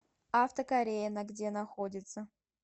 авто корея на где находится